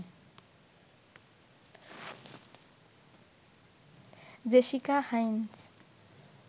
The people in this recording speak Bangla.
Jessica Hynes